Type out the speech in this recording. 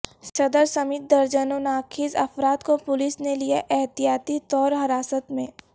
صدر سمیت درجنوں نا خیز افراد کو پولیس نے لیا احتیاطی طور حراست میں